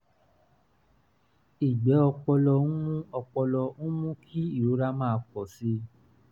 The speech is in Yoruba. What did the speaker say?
igbe opolo n mu opolo n mu ki irora ma po si